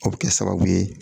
O bɛ kɛ sababu ye